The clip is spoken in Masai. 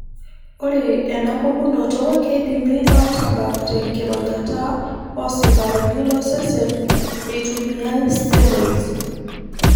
Ore enapukunoto keidimi atabak te nkironyata osikarini losesen eitumiyae steroids.